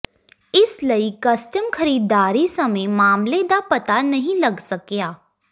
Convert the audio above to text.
ਇਸ ਲਈ ਕਸਟਮ ਖਰੀਦਦਾਰੀ ਸਮੇਂ ਮਾਮਲੇ ਦਾ ਪਤਾ ਨਹੀਂ ਲੱਗ ਸਕਿਆ